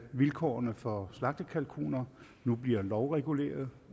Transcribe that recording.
vilkårene for slagtekalkuner nu bliver lovreguleret